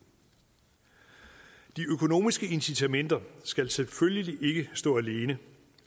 de økonomiske incitamenter skal selvfølgelig ikke stå alene